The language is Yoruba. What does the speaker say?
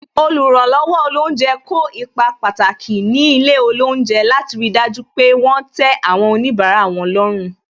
Oluranlowo olounje kó ipa pàtàki ní ilé olounje, láti ri dájú pé wọn tẹ àwọn onibara wọn lọ́rùn.